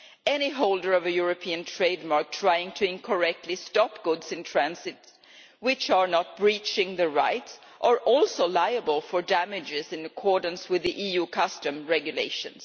Any holder of a European trademark trying to incorrectly stop goods in transit which are not breaching the rights is also liable for damages in accordance with the EU customs regulations.